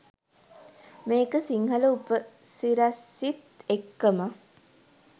මේක සිංහල උපසිරැසිත් එක්කම